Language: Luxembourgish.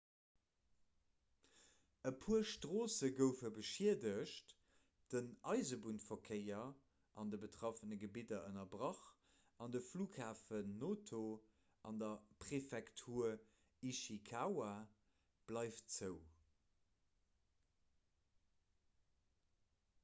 e puer stroosse goufe beschiedegt den eisebunnverkéier an de betraffene gebidder ënnerbrach an de flughafen noto an der präfektur ishikawa bleift zou